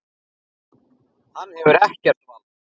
Hann hefur ekkert vald.